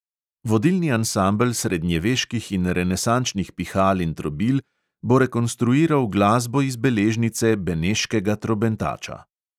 Vodilni ansambel srednjeveških in renesančnih pihal in trobil bo rekonstruiral glasbo iz beležnice beneškega trobentača.